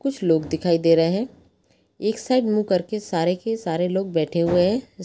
कुछ लोग दिखाई दे रहे है एक साइड मुह करके सारे के सारे लोग बेठे हुए है।